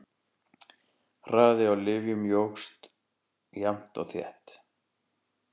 Hraði á lyftum jókst jafnt og þétt.